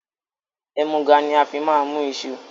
Ẹmuga ni a fi máa mú iṣu